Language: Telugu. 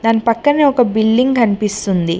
దాని పక్కనే ఒక బిల్డింగ్ కనిపిస్తుంది.